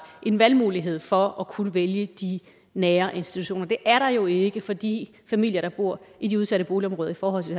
en valgmulighed for at kunne vælge de nære institutioner det er der jo ikke for de familier der bor i de udsatte boligområder i forhold til